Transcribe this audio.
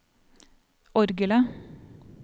orgelet